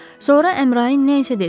Sonra Əmrayin nə isə dedi.